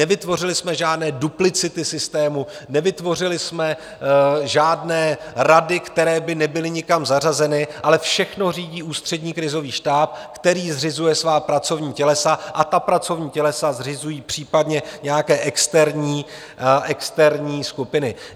Nevytvořili jsme žádné duplicity systému, nevytvořili jsme žádné rady, které by nebyly nikam zařazeny, ale všechno řídí Ústřední krizový štáb, který zřizuje svá pracovní tělesa, a ta pracovní tělesa zřizují případně nějaké externí skupiny.